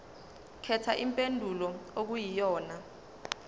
khetha impendulo okuyiyona